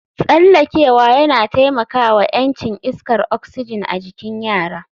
Tsallakewa yana taimaka wa ƴancin iskar oxygen a cikin yara